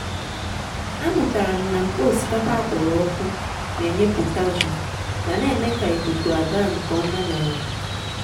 a mụtara m na nkpa osikapa a kpọrọ ọkụ n’enye potassium ma n’eme ka ikuku agaa nke ọma n’ala.